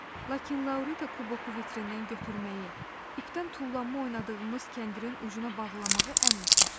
Lakin Laurita kuboku vitrindən götürməyi, ipdən tullanma oynadığımız kəndirin ucuna bağlamağı əmr etmişdi.